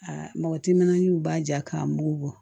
Aa mɔgɔ timinanw b'a ja k'a mugu bɔ